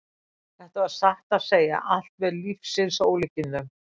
Þetta var satt að segja allt með lífsins ólíkindum.